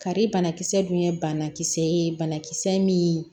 Kari banakisɛ dun ye banakisɛ ye banakisɛ min